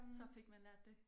Så fik man lært det